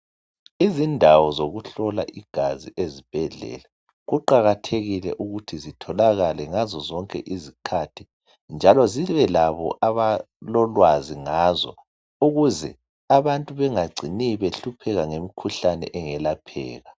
Izindawo zokuhlola igazi ezibhedlela, kuqakathekile ukuthi zitholakale ngazo zonke izikhathi njalo zibe labo abalolwazi ngazo ukuze abantu bengagcini behlupheka nge mkhuhlane engelapheka.